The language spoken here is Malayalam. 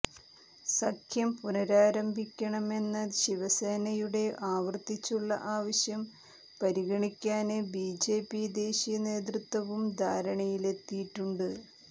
സഖ്യം പുനരാരംഭിക്കണമെന്ന ശിവസേനയുടെ ആവര്ത്തിച്ചുള്ള ആവശ്യം പരിഗണിക്കാന് ബിജെപി ദേശീയ നേതൃത്വവും ധാരണയിലെത്തിയിട്ടുണ്ട്